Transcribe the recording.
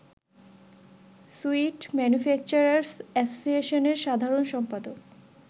sweet manufacturers অ্যাসোসিয়েশনের সাধারণ সম্পাদক